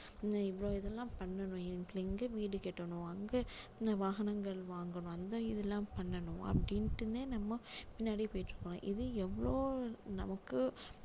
இவ்ளோ இதெல்லாம் பண்ணணும் இங்க வீடு கட்டணும் அங்க இந்த வாகனங்கள் வாங்கணும் அந்த இது எல்லாம் பண்ணணும் அப்படின்னுட்டுன்னே நம்ம பின்னாடியே போயிட்டு இருக்கோம் இது எவ்ளோ நமக்கு